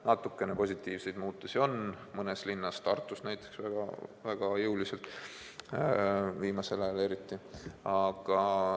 Natukene positiivseid muutusi on mõnes linnas, Tartus näiteks, viimasel ajal eriti jõuliselt.